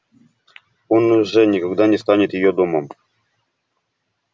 он уже никогда не станет её домом